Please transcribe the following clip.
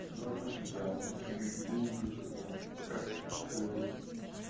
мы относимся чуть чуть глубже к этому как к